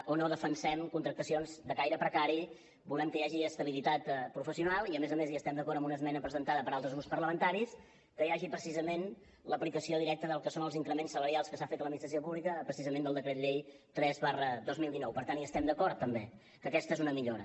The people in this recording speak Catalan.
o no defensem contractacions de caire precari volem que hi hagi estabilitat professional i a més a més estem d’acord amb una esmena presentada per altres grups parlamentaris que hi hagi precisament l’aplicació directa del que són els increments salarials que s’han fet a l’administració pública precisament del decret llei tres dos mil dinou per tant hi estem d’acord també que aquesta és una millora